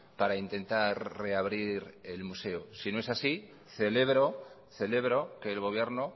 para intentar reabrir el museo si no es así celebro celebro que el gobierno